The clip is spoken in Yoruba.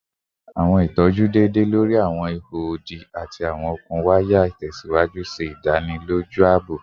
Awọn sọwedowo itọju deede lori awọn iho odi ati awọn okun waya itẹsiwaju ṣe idaniloju aabo